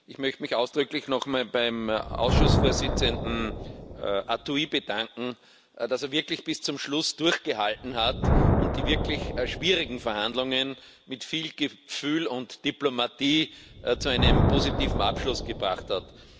Ich möchte mich ausdrücklich noch einmal beim Ausschussvorsitzenden Arthuis bedanken, dass er wirklich bis zum Schluss durchgehalten hat und die wirklich schwierigen Verhandlungen mit viel Gefühl und Diplomatie zu einem positiven Abschluss gebracht hat.